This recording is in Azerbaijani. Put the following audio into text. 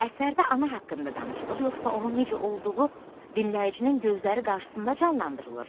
Əsərdə ana haqqında danışılır, yoxsa onun necə olduğu dinləyicinin gözləri qarşısında canlandırılır?